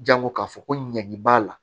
Jango k'a fɔ ko ɲangi b'a la